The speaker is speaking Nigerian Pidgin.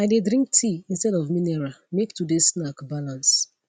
i dey drink tea instead of mineral make today snack balance